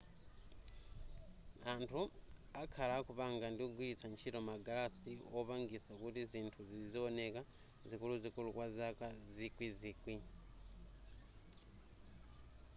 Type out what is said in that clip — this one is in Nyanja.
anthu akhala akupanga ndikugwiritsa ntchito magalasi wopangisa kuti zinthu zizioneka zikuluzikulu kwa zaka zikwi zikwi